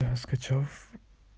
скачав